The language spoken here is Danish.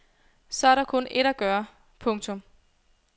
Så er der kun ét at gøre. punktum